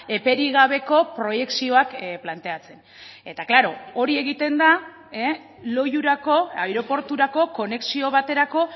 eperi gabeko proiekzioak planteatzen eta klaro hori egiten da loiurako aireporturako konexio baterako